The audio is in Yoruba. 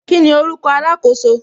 Kíni orúkọ alakoso